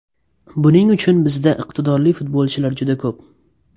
Buning uchun bizda iqtidorli futbolchilar juda ko‘p.